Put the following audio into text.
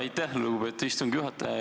Aitäh, lugupeetud istungi juhataja!